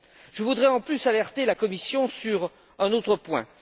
Je voudrais en plus alerter la Commission sur un autre point.